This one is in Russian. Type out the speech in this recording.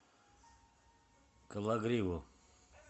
кологриву